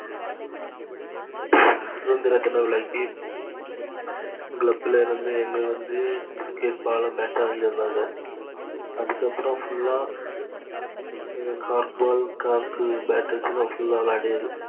சுதந்திர விழாக்கு club ல இருந்து எங்களுக்கு வந்து criketball உம் bat உம் வாங்கித்தந்தாங்க அதுக்கு அப்புறம் full ஆஹ் carrot ball carrot bat தான்விளையாடியது.